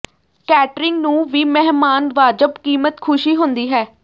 catering ਨੂੰ ਵੀ ਮਹਿਮਾਨ ਵਾਜਬ ਕੀਮਤ ਖ਼ੁਸ਼ੀ ਹੁੰਦੀ ਹੈ